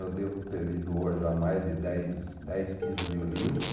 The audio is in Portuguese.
Eu devo ter lido hoje há mais de dez, dez, quinze mil livros.